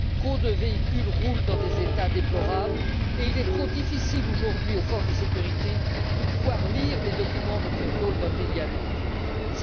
Trop de véhicules roulent dans un état déplorable, et il est trop difficile aujourd'hui pour les forces de sécurité de lire les documents de contrôle d'un pays tiers.